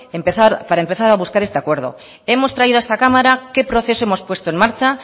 para empezar a buscar este acuerdo hemos traído a esta cámara qué proceso hemos puesto en marcha